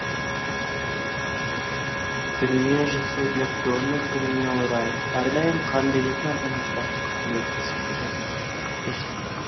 дүниежүзілік донор күніне орай әрдайым қан беретін азаматтарға құрмет көрсетілді